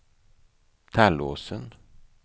Tallåsen